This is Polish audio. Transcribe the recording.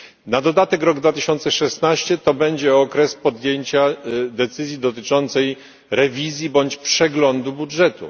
Na dodatek rok 2016 będzie okresem podjęcia decyzji dotyczącej rewizji bądź przeglądu budżetu.